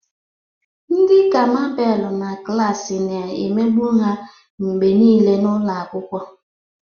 Ndị ka Mabel na klasi na-emegbu ya mgbe niile n'ụlọ akwụkwọ.